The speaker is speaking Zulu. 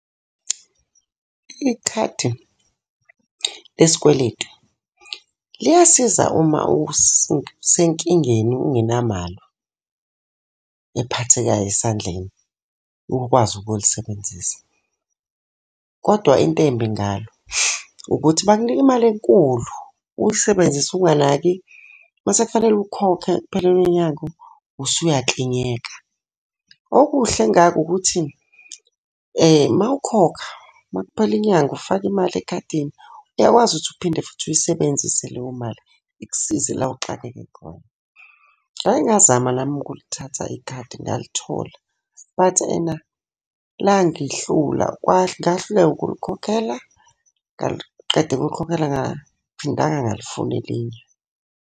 Ikhadi le sikweletu liyasiza uma usenkingeni ungenamali ephathekayo esandleni ukwazi ukulisebenzisa. Kodwa into embi ngalo, ukuthi bakunika imali enkulu, uyisebenzise unganaki. Uma sekufanele ukhokhe kuphele lo nyaka usuyakinyeka. Okuhle ngako ukuthi uma ukhokha, uma kuphela inyanga ufaka imali ekhadini, uyakwazi ukuthi uphinde futhi uyisebenzise leyo mali Ikusize la oxakeke khona. Ngake ngazama nami ukulithatha ikhadi ngalithola, but ena langihlula ngahluleka ukulikhokhela, ngaliqeda ukulikhokhela angiphindanga ngalifuna elinye.